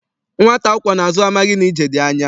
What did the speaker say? Nwata akwọ n'azụ amaghị na ije dị anya.